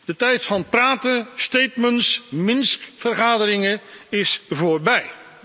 De tijd van praten, statements, Minsk vergaderingen is voorbij.